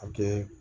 A kɛ